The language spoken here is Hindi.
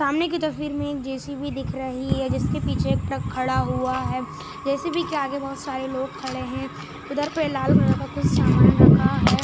सामने की तस्वीर में एक जे_सी_बी दिख रही है जिसके पीछे एक ट्रक खड़ा हुआ है जे_सी_बी के आगे बहुत सारे लोग खड़े हैं उधर पे लाल कलर का कुछ सामान रखा है।